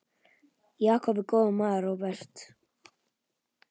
Jakob er góður maður, Róbert.